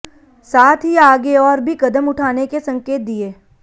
साथ ही आगे और भी कदम उठाने के संकेत दिए